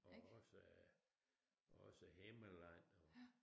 Og også øh også Himmerland og